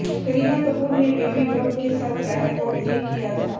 करीना कपूर ने baby bump के साथ रैंप वॉक भी किया था